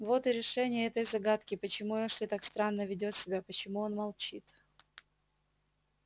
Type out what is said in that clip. вот и решение этой загадки почему эшли так странно ведёт себя почему он молчит